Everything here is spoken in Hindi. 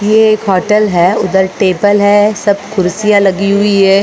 ये एक होटल है उधर टेबल है सब कुर्सियां लगी हुई है।